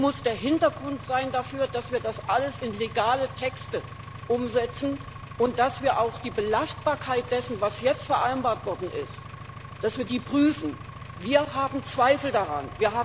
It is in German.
Es muss der Hintergrund sein dafür, dass wir das alles in Gesetzestexte umsetzen und dass wir auch die Belastbarkeit dessen, was jetzt vereinbart worden ist, prüfen. Wir haben Zweifel daran.